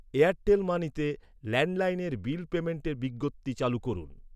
Airtel মানিতে ল্যান্ডলাইনের bill পেইমেন্টের বিজ্ঞপ্তি চালু করুন।